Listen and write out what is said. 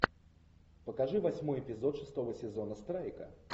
покажи восьмой эпизод шестого сезона страйка